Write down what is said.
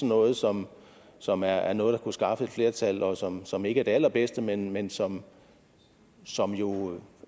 noget som som er noget der kunne skaffe et flertal og som som ikke er det allerbedste men men som som jo